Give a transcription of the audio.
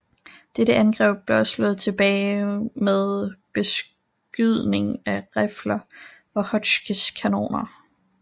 Dette angreb blev også slået tilbage med beskydning fra rifler og Hotchkiss kanoner